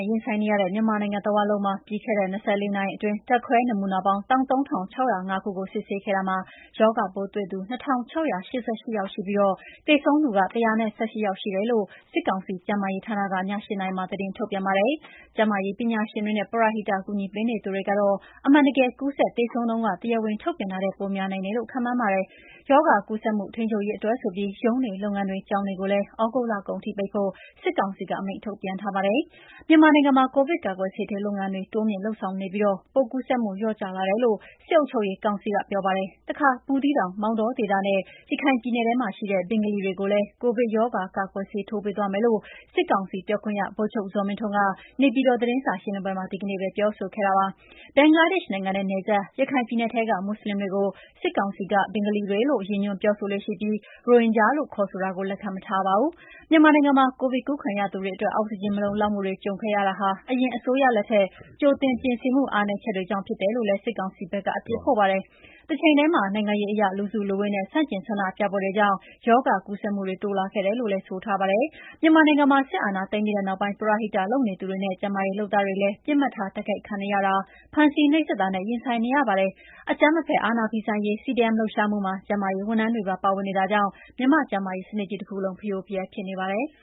ဲ့ ရင်ဆိုင်နေရတဲ့ မြန်မာနိုင်ငံတဝန်းလုံးမှာ ပြီးခဲ့တဲ့ ၂၄ နာရီအတွင်း ဓာတ်ခွဲနမူနာပေါင်း ၁၃,၆၀၅ ခုကို စစ်ဆေးခဲ့တာမှာ ရောဂါပိုးတွေ့သူ ၂,၆၈၈ ယောက်ရှိပြီး သေဆုံးသူ ၁၁၈ ယောက်ရှိတယ်လို့ စစ်ကောင်စီ ကျန်းမာရေးဌာနက ည ၈ နာရီမှာ သတင်းထုတ်ပြန်ပါတယ်။ ကျန်းမာရေးပညာရှင်တွေနဲ့ ပရဟိတ ကူညီပေးနေသူတွေကတော့ အမှန်တကယ် ကူးစက်သေဆုံးနှုန်းဟာ တရားဝင်ထုတ်ပြန်တာထက် ပိုများနိုင်တယ်လို့ ခန့်မှန်းကြပါတယ်။ ရောဂါကူးစက်မှုထိန်းချုပ်ရေးအတွက်ဆိုပြီး ရုံးတွေ၊ လုပ်ငန်းတွေ၊ ကျောင်းတွေကိုလည်း သြဂုတ်လကုန်ထိပိတ်ဖို့ စစ်ကောင်စီက အမိန့်ထုတ်ပြန်ထားပါတယ်။ မြန်မာနိုင်ငံမှာ ကိုဗစ်ကာကွယ်ဆေးထိုးလုပ်ငန်းတွေ တိုးမြှင့်လုပ်ဆောင်နေပြီး ပိုးကူးစက်မှုလျော့ကျလာတယ်လို့ စစ်အုပ်ချုပ်ရေးကောင်စီက ပြောပါတယ်။ တခါ ဘူးသီးတောင်၊ မောင်တောဒေသနဲ့ ရခိုင်ပြည်နယ်မှာရှိတဲ့ "ဘင်္ဂါလီ" တွေကိုလည်း ကိုဗစ်ရောဂါကာကွယ်ဆေး ထိုးပေးသွားမယ်လို့ စစ်ကောင်စီပြောခွင့်ရ ဗိုလ်ချုပ်ဇော်မင်းထွန်းက နေပြည်တော် သတင်းစာရှင်းလင်းပွဲမှာ ဒီကနေ့ပဲ ပြောဆိုခဲ့ပါတယ်။ ဘင်္ဂလားဒေ့ရှ်နိုင်ငံနဲ့နယ်စပ် ရခိုင်ပြည်နယ်ထဲက မွတ်ဆလင်တွေကို စစ်ကောင်စီက ဘင်္ဂါလီတွေလို့ ရည်ညွှန်းပြောဆိုလေ့ရှိပြီး ရိုဟင်ဂျာလို့ ခေါ်ဆိုတာကိုလက်ခံမထားပါဘူး။ မြန်မာနိုင်ငံမှာ ကိုဗစ်ကူးခံရသူတွေအတွက် အောက်စီဂျင် မလုံလောက်မှုတွေ ကြုံတွေ့ခဲ့ရတာဟာ အရင်အစိုးရလက်ထက် ကြိုတင်ပြင်ဆင်မှု အားနည်းချက်တွေကြောင့် ဖြစ်တယ်လို့လည်း စစ်ကောင်စီဘက်က အပြစ်ဖို့ပါတယ်။ တချိန်တည်းမှာ နိုင်ငံရေးအရ လူစုလူဝေးနဲ့ ဆန့်ကျင်ဆန္ဒပြပွဲတွေကြောင့် ရောဂါကူးစက်မှုတွေ တိုးလာခဲ့တယ်လို့လည်း ဆိုပါတယ်။ မြန်မာနိုင်ငံမှာ စစ်အာဏာသိမ်းပြီးနောက်ပိုင်း ပရဟိတလုပ်နေသူတွေနဲ့ ကျန်းမာရေးလုပ်သားတွေလည်း ပစ်မှတ်ထား တိုက်ခိုက်ခံနေရတာ၊ ဖမ်းဆီးနှိပ်စက်တာနဲ့ ရင်ဆိုင်နေရပါတယ်။ အကြမ်းမဖက်အာဏာဖီဆန်ရေး CDM လှုပ်ရှားမှုမှာ ကျန်းမာရေးဝန်ထမ်းတွေပါ ပါဝင်နေတာကြောင့်လည်း မြန်မာ့ကျန်းမာရေးစနစ်ကြီးတခုလုံး ဖရိုဖရဲဖြစ်နေပါတယ်။